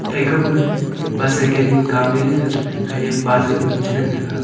thai kap gag bicycan ma kamley la ga khanyak pa za cha ngantaga.